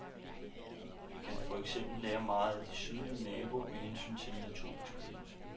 Vi kan for eksempel lære meget af sydlige naboer med hensyn til naturbeskyttelse.